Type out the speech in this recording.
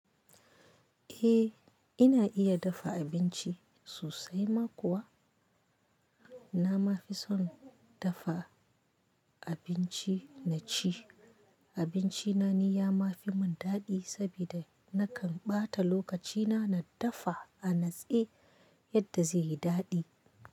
Eh ina iya dafa abinci sosai ma kuwa. Na ma fi son dafa abinci na ci. Abinci na ni ya ma fi mun daɗi saboda nakan ɓata lokaci na na dafa a natse yadda zai yi daɗi.